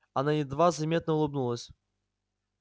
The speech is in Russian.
она едва заметно улыбнулась